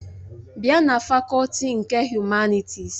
Bịa na fakọlti nke Humanịtịs!